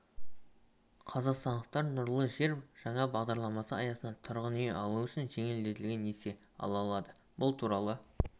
қазақстандықтар нұрлы жер жаңа бағдарламасы аясында тұрғын үй алу үшін жеңілдетілген несие ала алады бұл туралы